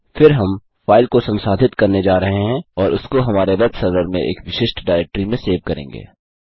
फिर हम फाइल को संसाधित करने जा रहे हैं और उसको हमारे वेब सर्वर में एक विशिष्ट डायरेक्ट्री में सेव करेंगे